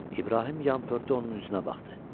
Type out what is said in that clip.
İbrahim yan pörtü onun üzünə baxdı.